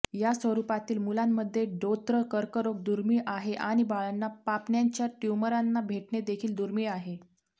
या स्वरूपातील मुलांमध्ये डोत्र कर्करोग दुर्मिळ आहे आणि बाळांना पापण्यांच्या ट्यूमरांना भेटणे देखील दुर्मिळ आहे